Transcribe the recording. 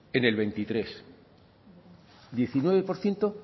en el veintitrés diecinueve por ciento